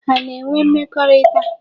Ha na-enwe mmekọrịta?